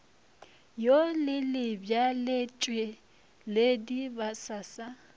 wo le lebjaletšweledi ba sa